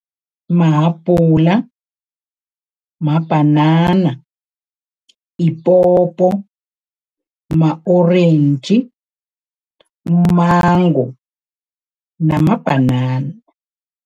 Mahabhula, mabhanana, iphopho, ma-orentji, umango namabhanana.